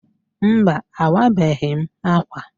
Mba, awabeghị m ákwà.